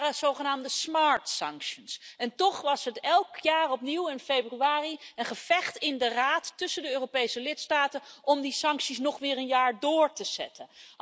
Dat waren zogenaamde Toch was het elk jaar opnieuw in februari een gevecht in de Raad tussen de Europese lidstaten om die sancties nog weer een jaar door te zetten.